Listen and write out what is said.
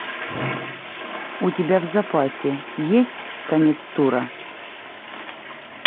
у тебя в запасе есть конец тура